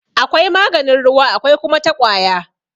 Akwai maganin ruwa akwai kuma ta ƙwaya..